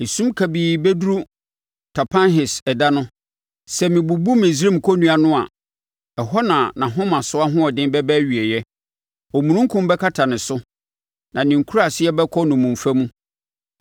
Esum kabii bɛduru Tapanhes ɛda no, sɛ mebubu Misraim kɔnnua no a; ɛhɔ na nʼahomasoɔ ahoɔden bɛba awieeɛ. Omununkum bɛkata ne so, na ne nkuraase bɛkɔ nnommumfa mu.